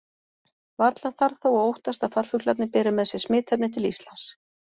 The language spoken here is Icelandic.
Varla þarf þó að óttast að farfuglarnir beri með sér smitefnið til Íslands.